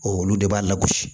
olu de b'a lagosi